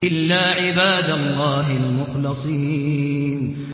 إِلَّا عِبَادَ اللَّهِ الْمُخْلَصِينَ